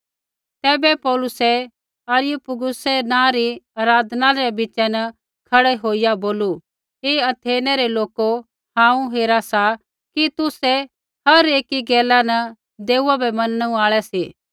तैबै पौलुसै अरियुपगुसै नाँ री आराधनालय रै बीच़ा न खड़ै होईया बोलू हे अथेनै रै लोको हांऊँ हेरा सा कि तुसै हर एकी गैला न देऊआ बै मनणु आल़ै सी